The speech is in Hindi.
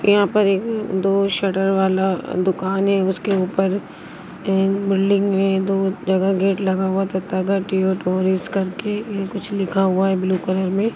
यहां पर एक दो शटर वाला दुकान है उसके ऊपर एक बिल्डिंग है दो जगह गेट लगा हुआ तथा ट्यूटोरियल्स करके कुछ लिखा हुआ है ब्लू कलर में--